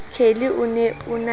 kelly o ne o na